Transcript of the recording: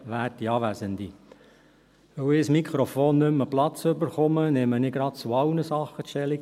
Weil ich kein Mikrofon mehr an den Platz gebracht bekomme, nehme ich gleich zu allen Sachen Stellung.